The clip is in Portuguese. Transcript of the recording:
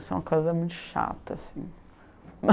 Isso é uma coisa muito chata, assim.